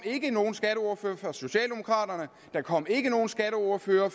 ikke nogen skatteordfører for socialdemokraterne der kom ikke nogen skatteordfører